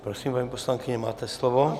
Prosím, paní poslankyně, máte slovo.